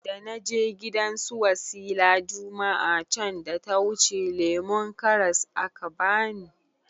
Dana je gidan su wasila juma'a can da yawuce lemon karras aka bani